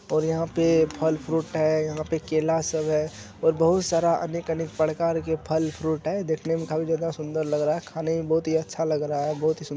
और यहा पे फल फ्रूट है यहा पे केला सब है ओर बहुत सारा अनेक-अनेक प्रकार के फल फ्रूट है देखने मे काफी ज्यादा सुंदर लग रहा है खाने मे बहुत ही अच्छा लग रहा है बहुत ह --